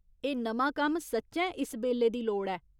एह् नमां कम्म सच्चैं इस बेल्ले दी लोड़ ऐ।